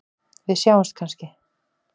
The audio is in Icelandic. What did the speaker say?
Við sjáumst kannski?